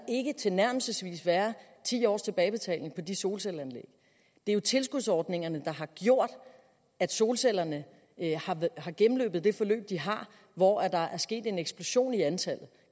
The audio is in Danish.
ikke tilnærmelsesvis være ti års tilbagebetaling på de solcelleanlæg det er jo tilskudsordningerne der har gjort at solcellerne har gennemløbet det forløb de har hvor der er sket en eksplosion i antallet